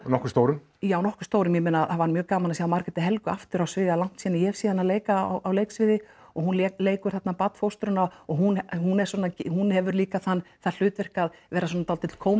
nokkuð stórum já nokkuð stórum ég meina það var mjög gaman að sjá Margréti Helgu aftur á sviði það er langt síðan að ég hef séð hana leika á leiksviði og hún leikur þarna barnfóstruna og hún hún er svona hún hefur líka þann það hlutverk að vera svona dálítill